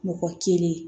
Mɔgɔ kelen